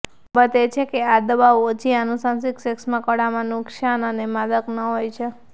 બાબત એ છે કે આ દવાઓ ઓછી અનુનાસિક શ્વૈષ્મકળામાં નુકસાન અને માદક ન હોય છે